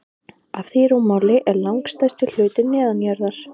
Af því rúmmáli er langstærsti hlutinn neðanjarðar.